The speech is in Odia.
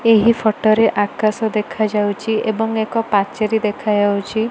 ଏହି ଫଟୋ ରେ ଆକାଶ ଦେଖା ଯାଉଚି ଏବଂ ଏକ ପାଚେରୀ ଦେଖା ଯାଉଚି।